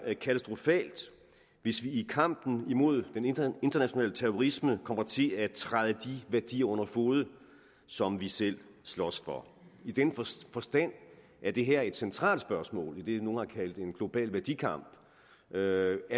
katastrofalt hvis vi i kampen imod international terrorisme kommer til at træde de værdier under fode som vi selv slås for i den forstand er det her et centralt spørgsmål i det nogle har kaldt en global værdikamp er